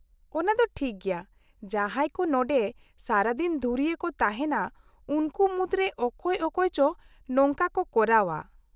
-ᱚᱱᱟ ᱫᱚ ᱴᱷᱤᱠ ᱜᱮᱭᱟ, ᱡᱟᱦᱟᱸᱭ ᱠᱚ ᱱᱚᱸᱰᱮ ᱥᱟᱨᱟᱫᱤᱱ ᱫᱷᱩᱨᱤᱭᱟᱹ ᱠᱚ ᱛᱟᱦᱮᱸᱱᱟ, ᱩᱱᱠᱩ ᱢᱩᱫᱨᱮ ᱚᱠᱚᱭ ᱚᱠᱚᱭ ᱪᱚ ᱱᱚᱝᱠᱟ ᱠᱚ ᱠᱚᱨᱟᱣᱼᱟ ᱾